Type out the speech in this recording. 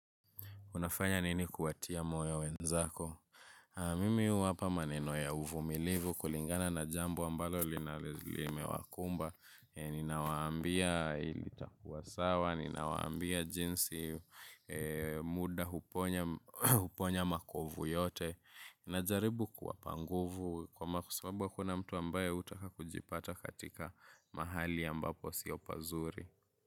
Unafanya nini kuwatia moyo wenzako? Mimi huwapa maneno ya uvumilivu kulingana na jambo ambalo limewakumba. Ninawaambia itakuwa sawa, ninawaambia jinsi muda huponya makovu yote. Najaribu kuwapa nguvu kwasababu hakuna mtu ambaye hutaka kujipata katika mahali ambapo sio pazuri.